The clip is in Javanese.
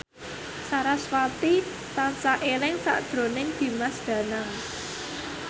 sarasvati tansah eling sakjroning Dimas Danang